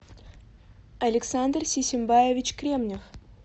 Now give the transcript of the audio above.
александр сисимбаевич кремнев